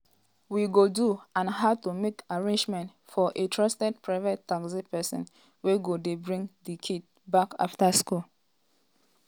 we go do and how to make arrangements for a trusted private taxi pesin wey go dey bring di kids back afta school."